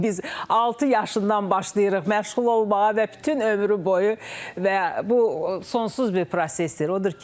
Biz altı yaşından başlayırıq məşğul olmağa və bütün ömrü boyu və bu sonsuz bir prosesdir.